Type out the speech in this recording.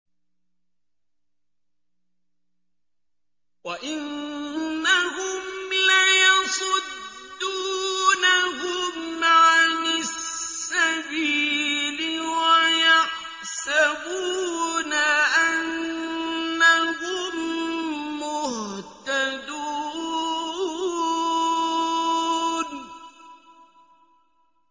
وَإِنَّهُمْ لَيَصُدُّونَهُمْ عَنِ السَّبِيلِ وَيَحْسَبُونَ أَنَّهُم مُّهْتَدُونَ